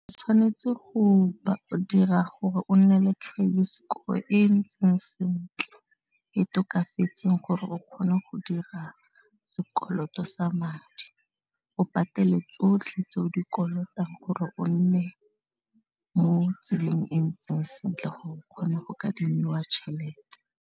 Tshwanetse go dira gore o nne le credit score e ntseng sentle e tokafetseng gore o kgone go dira sekoloto sa madi o patele tsotlhe tse o di kolotang gore o nne mo tseleng e ntseng sentle gore o kgone go kadimiwa tšhelete.